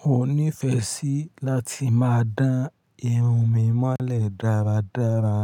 Mo ǹ nífẹẹ sí láti máa dán irun mi mọ́lẹ̀ dáradára.